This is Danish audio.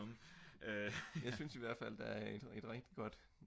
jeg synes i hvert fald at der er et rigtig godt